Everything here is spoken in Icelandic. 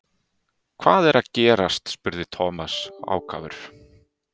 Hvað er að gerast? spurði Thomas ákafur.